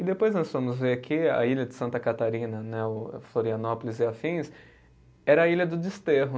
E depois nós fomos ver que a ilha de Santa Catarina né, o Florianópolis e afins, era a ilha do desterro.